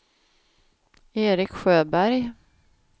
Erik Sjöberg